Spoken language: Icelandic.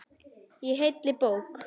Í heilli bók.